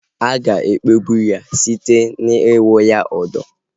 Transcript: A ga-ekpegbụ ya site n'ikwu ya udọ